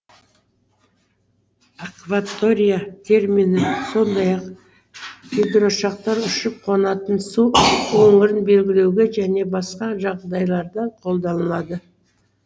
акватория термині сондай ақ гидроұшақтар ұшып қонатын су өңірін белгілеуге және басқа жағдайларда колданылады